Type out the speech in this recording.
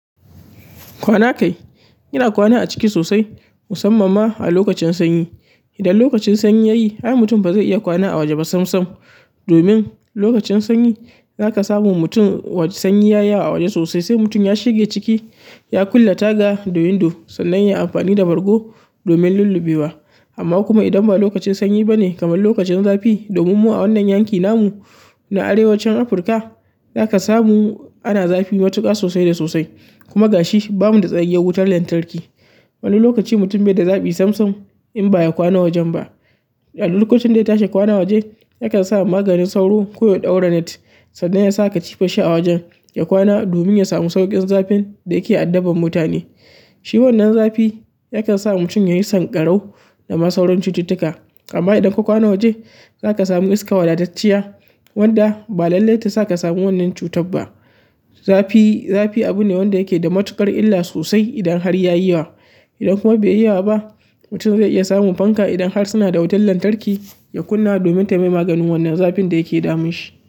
Kwana kai, yana kwana a ciki sosai, musamman ma a lokacin sanyi. Idan lokacin sanyi yayi, ai mutum ba zai iya kwana a waje ba sam sam. Domin lokacin sanyi, za ka samu mutum waje sanyi ya yi a waje sosai, sai mutum ya shige ciki, ya kulle taga da window sannan ya yi amfani da bargo domin lulluɓewa. Amma kuma idan ba lokacin sanyi bane kamar lokacin zafi domin mu a wannan yanki namu na arewacin Afrika zaka samu ana zafi matuƙa sosai da sosai kuma gashi, ba mu da tsayayyar wutar lantarki. Wani lokaci mutum bai da zaɓi samsam in ba ya kwana wajen ba. A duk lokacin da ya tashi kwana waje, yakan sa maganin sauro ko ya ɗaura net sannan ya sa katifar shi a wajen ya kwana domin ya samu sauƙin zafin da yake addaban mutane. Shi wannan zafi yakan sa mutum yayi sanƙarau da ma sauran cututtuka. Amma idan ka kwana waje, za ka samu iska wadatacciya wadda ba lallai ta sa ka samu wannan cutar ba. Zafi, zafi abu ne wanda yake da matuƙar illa sosai idan har ya yi wa. Idan kuma bai yi yawa ba, mutum zai iya samun fanka idan har suna da wutar lantarki ya kunna domin ta mai maganin wannan zafin da yake damun shi.